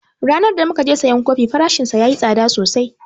Ranan da mukaje sayan kofi farashin yayi tsada sosai